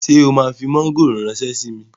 Ṣé o máa fi mọ́ngòrò ránṣẹ́ síi?